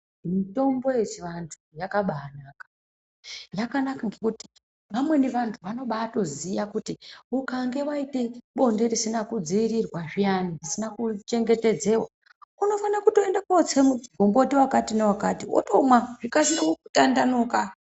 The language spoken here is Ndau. Mitombo yechivantu yakabanaka, yakanaka ngekuti vamweni vantu vanobatoziya kuti ukange vaite bonde risina kudzivirirwa zviyani risina kuchengetedzeva. Unofane kotse mugomboti vakati navakati votomwa zvikasire kutandanuka.